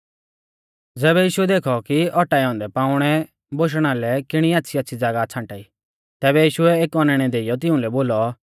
ज़ैबै यीशुऐ देखौ कि औटाऐ औन्दै पाउणै बोशणा लै किणी आच़्छ़ीआच़्छ़ी ज़ागाह छ़ांटाई तैबै यीशुऐ एक औनैणै देइयौ तिउंलै बोलौ